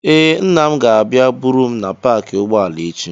Ee, nna m ga-abịa buru m na paakị ụgbọala echi.